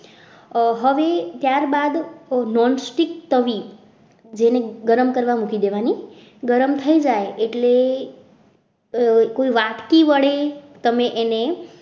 હવે ત્યારબાદ nonstic તવી જેને ગરમ કરવા મૂકી દેવાની ગરમ થઈ જાય એટલે કોઈ વાટકી વડે તમે અને